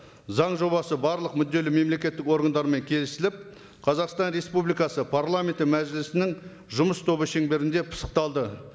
заң жобасы барлық мүдделі мемлекеттік органдармен келісіліп қазақстан республикасы парламенті мәжілісінің жұмыс тобы шеңберінде пысықталды